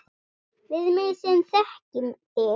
Við mig sem þekki þig.